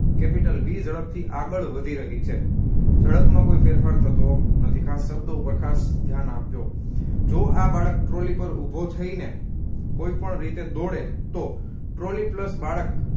Capital v ઝડપથી આગળ વધી રહી છે ઝડપમાં કોઈ ફેરફાર થતો નથી ખાસ શબ્દો ઉપર ખાસ ધ્યાન આપજો જો આ બાળક trolly પર ઉભો થઈને કોઈપણ રીતે દોડે તો trolly પ્લસ બાળક